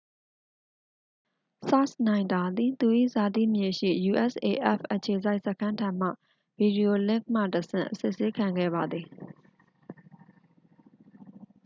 စာ့ချ်နိုင်တာ သည် သူ၏ဇာတိမြေရှိ usaf အခြေစိုက်စခန်းထံမှ ဗီဒီယိုလင့်ခ်မှတဆင့် အစစ်ဆေးခံခဲ့ပါသည်